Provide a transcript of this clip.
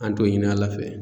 An t'o ɲini ala fɛ